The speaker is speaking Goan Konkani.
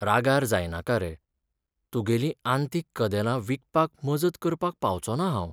रागार जायनाका रे, तुगेलीं आंतीक कदेलां विकपाक मजत करपाक पावचोना हांव.